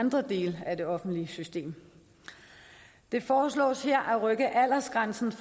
andre dele af det offentlige system det foreslås her at rykke aldersgrænsen